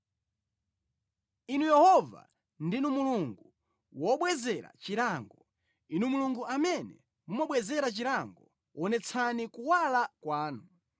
Inu Yehova, ndinu Mulungu wobwezera chilango, Inu Mulungu amene mumabwezera chilango, wonetsani kuwala kwanu.